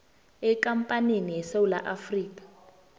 ekampanini yesewula afrika